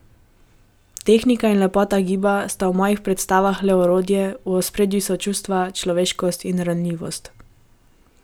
Tehnika in lepota giba sta v mojih predstavah le orodje, v ospredju so čustva, človeškost in ranljivost.